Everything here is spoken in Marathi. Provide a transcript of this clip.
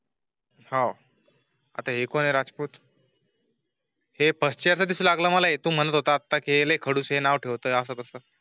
हा. आता एकोण राजपूत. हे फर्स्ट च्या तिस लागला आहे. तु म्हणत होता आता केले खडसे नाव ठेवतो असं कसं?